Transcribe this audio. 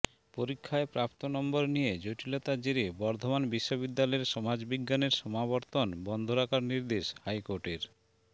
পরীক্ষায় প্রাপ্ত নম্বর নিয়ে জটিলতার জেরে বর্ধমান বিশ্ববিদ্যালয়ের সমাজবিজ্ঞানের সমাবর্তন বন্ধ রাখার নির্দেশ হাইকোর্টের